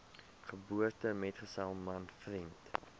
geboortemetgesel man vriend